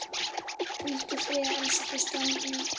Hvíldu í friði elsku Stjáni.